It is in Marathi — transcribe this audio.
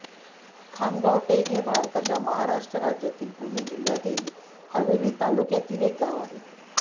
खामगाव टेक हे भारताच्या महाराष्ट्र राज्यातील पुणे जिल्ह्यातील हवेली तालुक्यातील एक गाव आहे